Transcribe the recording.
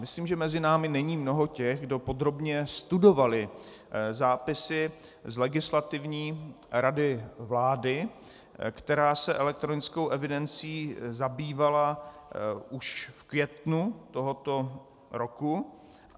Myslím, že mezi námi není mnoho těch, kdo podrobně studovali zápisy z Legislativní rady vlády, která se elektronickou evidencí zabývala už v květnu tohoto roku.